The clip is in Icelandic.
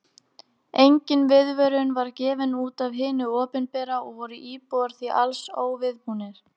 Engin viðvörun var gefin út af hinu opinbera og voru íbúar því alls óviðbúnir.